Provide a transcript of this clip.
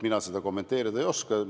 Mina seda kommenteerida ei oska.